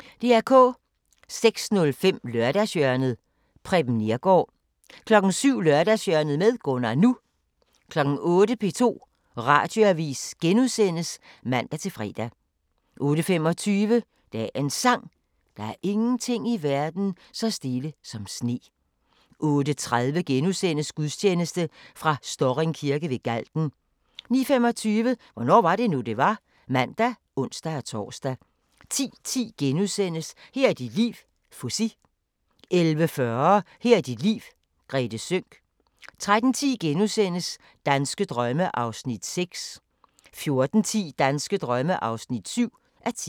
06:05: Lørdagshjørnet - Preben Neergaard 07:00: Lørdagshjørnet med Gunnar NU 08:00: P2 Radioavis *(man-fre) 08:25: Dagens Sang: Der er ingenting i verden så stille som sne 08:30: Gudstjeneste fra Storring Kirke ved Galten * 09:25: Hvornår var det nu, det var? (man og ons-tor) 10:10: Her er dit liv - Fuzzy * 11:40: Her er dit liv - Grethe Sønck 13:10: Danske drømme (6:10)* 14:10: Danske drømme (7:10)